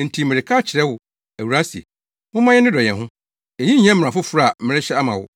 Enti mereka akyerɛ wo, Awuraa se, momma yɛnnodɔ yɛn ho. Eyi nyɛ mmara foforo a merehyɛ ama wo.